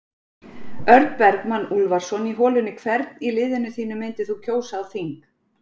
Örn Bergmann Úlfarsson í holunni Hvern í liðinu þínu myndir þú kjósa á þing?